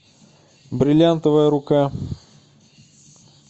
бриллиантовая рука